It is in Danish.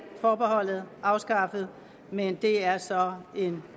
forbeholdet afskaffet men det er så en